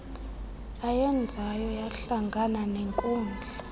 ayenzayo hlangana nenkundla